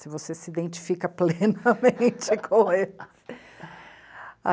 Se você se identifica plenamente com eles.